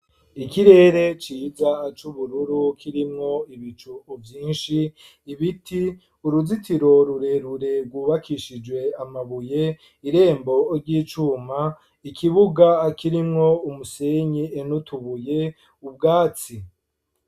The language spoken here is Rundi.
Ikirere ciza c'ubururu kirimwo ibicu vyinshi, ibiti ,uruzitiro rurerure gwubakishijwe amabuye ,irembo ry'icuma ,ikibuga kirimwo umusenyi nu tubuye, ubwatsi .